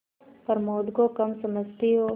प्रमोद को कम समझती हो